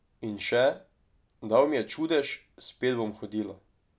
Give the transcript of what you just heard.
In še: "Dal mi je čudež, spet bom hodila.